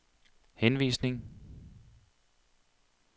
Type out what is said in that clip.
henvisning